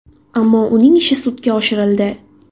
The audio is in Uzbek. Ammo uning ishi sudga oshirildi.